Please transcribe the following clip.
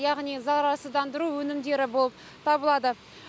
яғни зарарсыздандыру өнімдері болып табылады